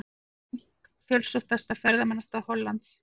Frank, fjölsóttasta ferðamannastað Hollands.